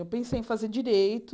Eu pensei em fazer direito,